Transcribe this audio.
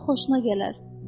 Ora xoşuna gələr.